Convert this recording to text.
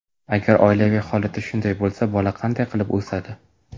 Agar oilaviy holati shunday bo‘lsa, bola qanday qilib o‘sadi?